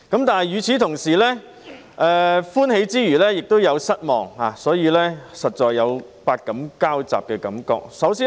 但是，與此同時，歡喜之餘也有失望，所以實在有百感交雜的感覺。